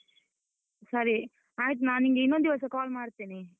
ಸರಿ, ಆಯ್ತು ನಾನ್ ನಿಂಗೆ ಇನ್ನೊಂದ್ ದಿವಸ call ಮಾಡ್ತೇನೆ.